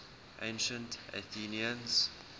ancient athenians